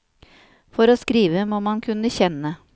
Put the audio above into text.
For å skrive må man kunne kjenne.